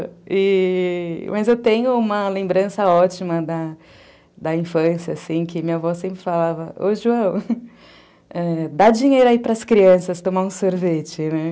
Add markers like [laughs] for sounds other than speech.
Mas eu tenho uma lembrança ótima da infância, assim, que minha avó sempre falava, ô, [laughs] João, dá dinheiro aí para as crianças tomarem um sorvete, né?